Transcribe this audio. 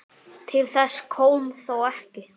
Til þess kom þó ekki.